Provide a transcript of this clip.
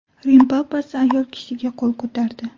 Rim papasi ayol kishiga qo‘l ko‘tardi.